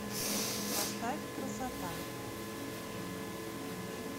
поставь красота